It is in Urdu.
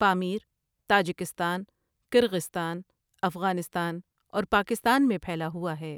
پامیر تاجکستان، کرغیزستان، افغانستان اور پاکستان میں پھیلا ہوا ہے ۔